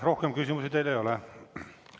Rohkem küsimusi teile ei ole.